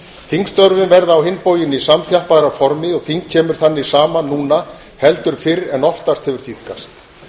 þingstörfin verða á hinn bóginn í samþjappaðra formi og þing kemur þannig saman núna heldur fyrr en oftast hefur tíðkast